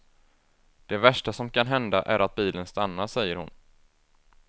Det värsta som kan hända är att bilen stannar, säger hon.